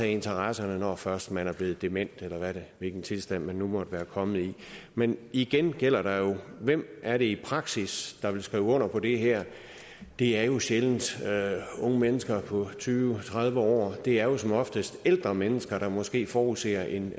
interesser når først man er blevet dement eller hvilken tilstand man nu måtte være kommet i men igen gælder jo dette hvem er det i praksis der vil skrive under på det her det er jo sjældent unge mennesker på tyve eller tredive år det er jo som oftest ældre mennesker der måske forudser en